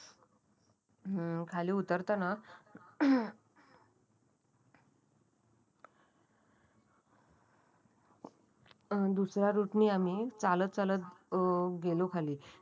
अ दुसऱ्या रोडने आम्ही चालत चालत अं गेलो खाली